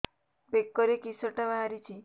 ବେକରେ କିଶଟା ବାହାରିଛି